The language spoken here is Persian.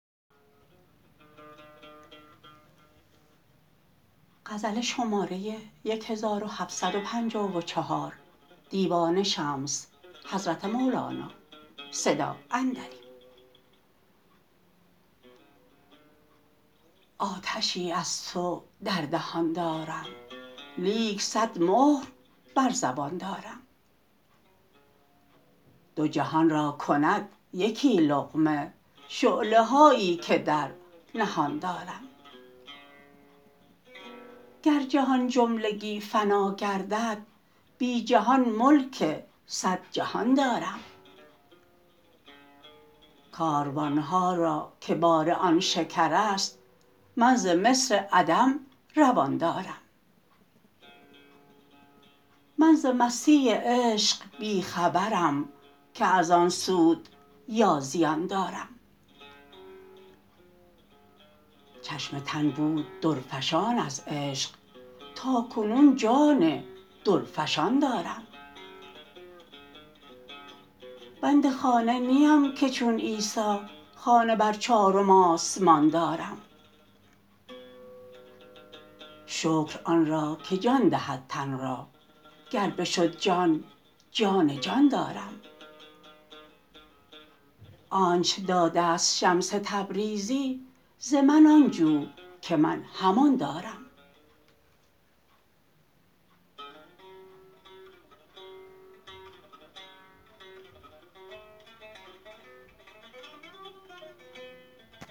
آتشی از تو در دهان دارم لیک صد مهر بر زبان دارم دو جهان را کند یکی لقمه شعله هایی که در نهان دارم گر جهان جملگی فنا گردد بی جهان ملک صد جهان دارم کاروان ها که بار آن شکرست من ز مصر عدم روان دارم من ز مستی عشق بی خبرم که از آن سود یا زیان دارم چشم تن بود درفشان از عشق تا کنون جان درفشان دارم بند خانه نیم که چون عیسی خانه بر چارم آسمان دارم شکر آن را که جان دهد تن را گر بشد جان جان جان دارم آنچ داده ست شمس تبریزی ز من آن جو که من همان دارم